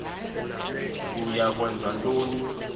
uya kwenza ntoni